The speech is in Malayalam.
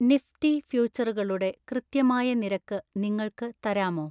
നിഫ്റ്റി ഫ്യൂച്ചറുകളുടെ കൃത്യമായ നിരക്ക് നിങ്ങൾക്ക് തരാമോ